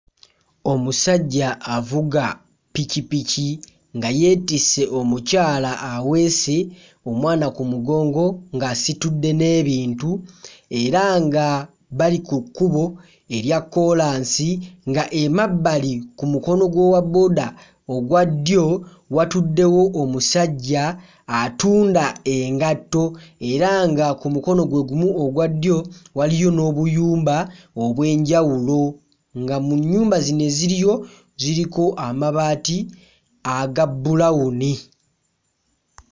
Omusajja avuga ppikipiki nga yeetisse omukyala aweese omwana ku mugongo ng'asitudde n'ebintu era nga bali ku kkubo erya kkoolansi nga emabbali ku mukono gw'owabbooda ogwa ddyo watuddewo omusajja atunda engatto era nga ku mukono gwe gumu ogwa ddyo waliyo n'obuyumba obw'enjawulo nga mu nnyumba zino eziriyo ziriko amabaati aga bbulawuni.